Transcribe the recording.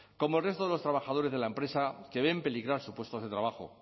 como el resto de los trabajadores de la empresa que ven peligrar su puestos de trabajo